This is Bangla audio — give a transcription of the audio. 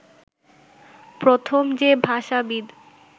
প্রথম যে ভাষাবিদ